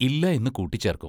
ഇല്ല എന്നു കൂട്ടിച്ചേർക്കും.